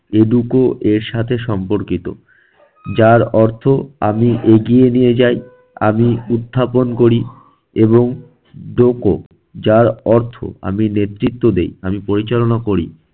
educo এর সাথে সম্পর্কিত। যার অর্থ আমি এগিয়ে নিয়ে যাই, আমি উত্থাপন করি এবং doco যার অর্থ আমি নেতৃত্ব দেই, আমি পরিচালনা করি।